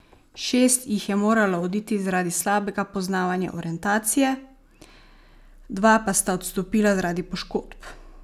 Šest jih je moralo oditi zaradi slabega poznavanja orientacije, dva pa sta odstopila zaradi poškodb.